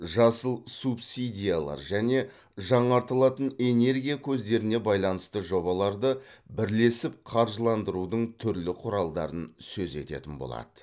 жасыл субсидиялар және жаңартылатын энергия көздеріне байланысты жобаларды бірлесіп қаржыландырудың түрлі құралдарын сөз ететін болады